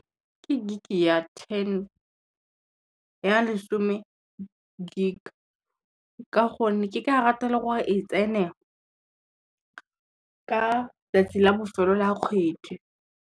Ke gig ya lesome gig, ka gonne ke ka rata le gore e tsene ka 'tsatsi la bofelo la kgwedi.